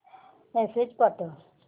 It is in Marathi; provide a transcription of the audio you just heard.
मेसेज पाठव